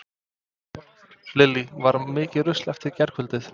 Lillý: Var mikið rusl eftir gærkvöldið?